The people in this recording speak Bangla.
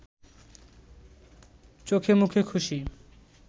চোখেমুখে খুশি